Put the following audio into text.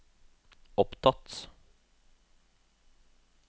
opptatt